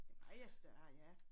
Det meget større ja